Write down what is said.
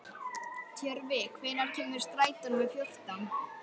Tjörvi, hvenær kemur strætó númer fjórtán?